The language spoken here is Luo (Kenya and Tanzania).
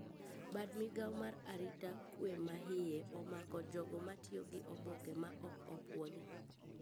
Bad migao mar arita kwe maiye omako jogo matiyo gi oboke ma ok opuodhi